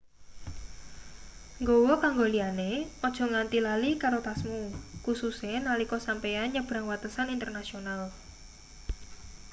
nggawa kanggo liyane aja nganti lali karo tasmu kususe nalika sampeyan nyebrang watesan internasional